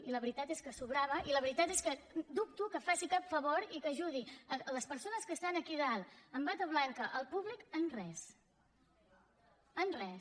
i la veritat és que sobrava i la veritat és que dubto que faci cap favor i que ajudi les persones que són aquí a dalt amb bata blanca el públic en res en res